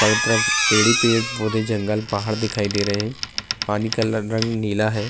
چارو طرف پیڈ ہی پیڈ بھوت جنگل، پہاد دکھائی دے رہے ہے۔ پانی کا رنگ نیلا ہے۔